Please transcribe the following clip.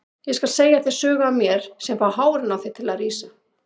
Ég skal segja þér sögur af mér sem fá hárin á þér til að rísa.